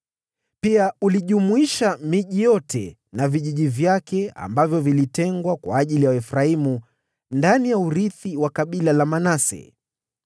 Pia ulijumuisha miji yote na vijiji vyake ambavyo vilitengwa kwa ajili ya Waefraimu ndani ya urithi wa kabila la Manase.